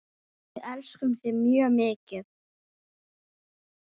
Við elskum þig mjög mikið.